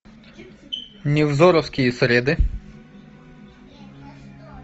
невзоровские среды